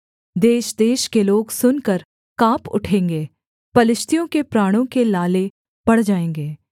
देशदेश के लोग सुनकर काँप उठेंगे पलिश्तियों के प्राणों के लाले पड़ जाएँगे